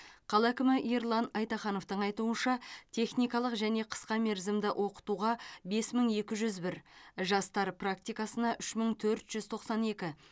қала әкімі ерлан айтахановтың айтуынша техникалық және қысқа мерзімді оқытуға бес мың екі жүз бір жастар практикасына үш мың төрт жүз тоқсан екі